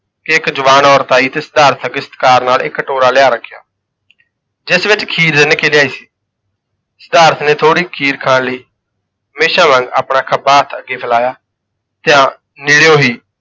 ਕਿ ਜਵਾਨ ਔਰਤ ਆਈ ਤੇ ਸਿਧਾਰਥ ਅੱਗੇ ਸਤਿਕਾਰ ਨਾਲ ਇੱਕ ਕਟੋਰਾ ਲਿਆ ਰੱਖਿਆ ਜਿਸ ਵਿੱਚ ਖੀਰ ਰਿੰਨ ਕੇ ਲਿਆਈ ਸੀ ਸਿਧਾਰਥ ਨੇ ਥੋੜ੍ਹੀ ਖੀਰ ਖਾਣ ਲਈ ਹਮੇਸ਼ਾ ਵਾਂਗ ਆਪਣਾ ਖੱਬਾ ਹੱਥ ਅੱਗੇ ਫੈਲਾਇਆ ਤੇ ਨੇੜਿਓ ਹੀ